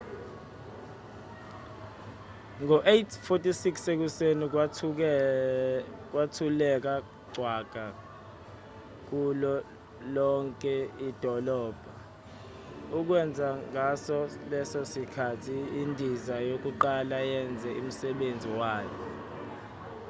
ngo-8:46 ekuseni kwathuleka cwaka kulo lonke idolobha okwenza ngaso leso sikhathi indiza yokuqala yenze umsebenzi wayo